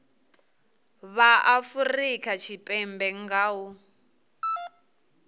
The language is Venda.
vha afurika tshipembe nga u